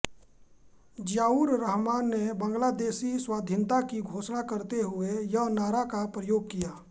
ज़ियाउर रहमान ने बांग्लादेशी स्वाधीनता की घोषणा करते हुए यह नारा का प्रयोग किया